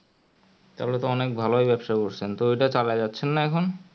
তাহলেই তো অনেক ভালোই ব্যাপসা করেছেন তো ও ওটাই চালাই যাচ্ছেন না এখুন